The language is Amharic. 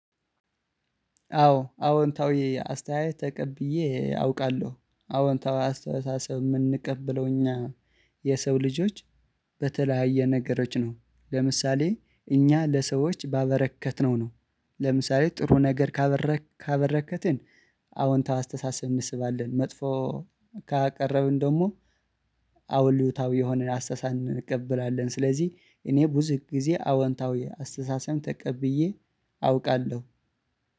አዎ አዎንታዊ አስተያየት ተቀብዬ አውቃለሁ አዎንታዊ አስተሳሰብ የምንቀበለው እኛ የሰው ልጆች በተለያየ ነገሮች ነው ለምሳሌ እኛ ለሰዎች ባበረከትነው ነው። ለምሳሌ ጥሩ ነገር ካበረከትን አዎንታ አስተሳሰብ እንስባለን መጥፎ ካቀረብን ደግሞ አውሉታዊ የሆነን አስተሳሰብ እንቀበላለን። ስለዚህ እኔ ብዙ ጊዜ አወንታዊ አስተሳሰብም ተቀብዬ አውቃለሁ